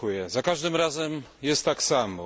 Za każdym razem jest tak samo.